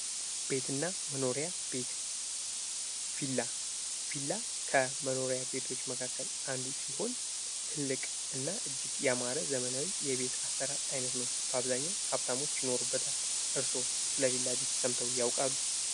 ቤትና መኖሪያ ቤት ቪላ፤ ቪላ ከመኖሪያ ቤቶች መካከል አንዱ ሲሆን ትልቅና እጅግ ያማረ ዘመናዊ የቤት አሰራር አይነት ነው። በአብዛኛው ሀብታሞች ይኖሩበታል። እርሶ ስለ ቪላ ቤት ሰምተው ያውቃሉ?